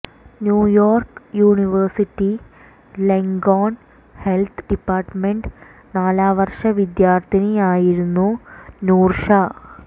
New York university Langone health department നാലാം വർഷ വിദ്യാർഥിനിയായിരുന്നു നൂർഷാ